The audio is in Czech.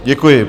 Děkuji.